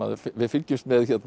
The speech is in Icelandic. við fylgjumst með